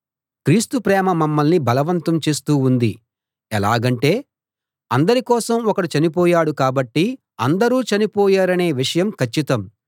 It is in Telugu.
క్రీస్తు ప్రేమ మమ్మల్ని బలవంతం చేస్తూ ఉంది ఎలాగంటే అందరి కోసం ఒకడు చనిపోయాడు కాబట్టి అందరూ చనిపోయారనే విషయం కచ్చితం